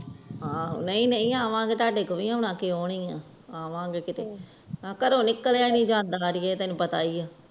ਆਹ ਨਾਈ ਨਾਈ ਆਵਾ ਗਏ ਤੁਹਾਡੇ ਕੋਲ ਵਿਉ ਆਉਣਾ ਕਿਉ ਨੀ ਆਂ ਆਵਾਂ ਗਏ ਕੀਤੇ ਘਰੋਂ ਨਿਕਲਿਆ ਨੀ ਜਾਂਦਾ ਅੜੀਏ ਤੈਨੂੰ ਪਤਾ ਏ ਆ